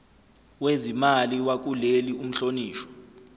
wezimali wakuleli umhlonishwa